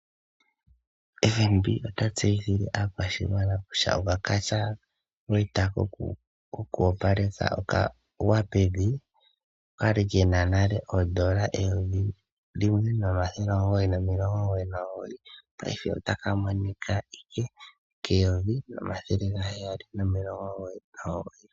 Fnb ota tseyithile aakwashigwana kusha okatyina koku opaleka okagwa pevi okwali kena nale eyovi limwe nomathele omugoyi nomilongo omugoyi nomugoyi paife otaka monike ashike keyoyi nomathele gaheyali nomilongo omugoyi nomugoyi.